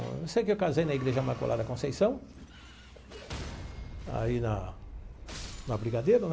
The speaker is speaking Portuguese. Eu sei que eu casei na Igreja Imaculada Conceição, aí na na Brigadeiro, né?